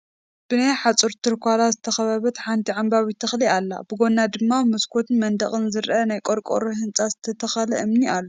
ብ ናይ ሓፁር ትርኳላ ዝተኸበበት ሓንቲ ዓምባቢት ተኽሊ ኣላ፡፡ ብጎና ድማ መስኮቱን መንደቁን ዝርአ ናይ ቆርቆሮ ህንፃን ዝተተኸለ እምኒ ኣሎ፡፡